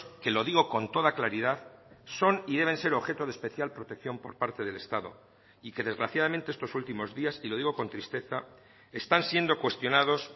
que lo digo con toda claridad son y deben ser objeto de especial protección por parte del estado y que desgraciadamente estos últimos días y lo digo con tristeza están siendo cuestionados